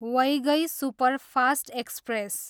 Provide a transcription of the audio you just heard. Vaigai superfast express